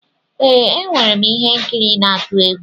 Ee, enwere m ihe nkiri n'atu egwu.